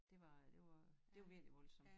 Det var det var det var virkelig voldsomt